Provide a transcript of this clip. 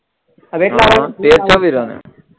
હા શેની રમે